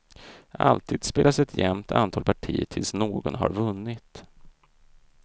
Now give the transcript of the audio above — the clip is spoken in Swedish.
Alltid spelas ett jämnt antal partier tills någon har vunnit.